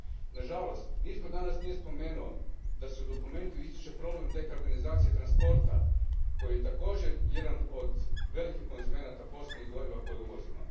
Na žalost, nitko danas nije spomenuo da se u dokumentu ističe problem dekarbonizacije transporta koji je također jedan od velikih konzumenata fosilnih goriva koje uvozima.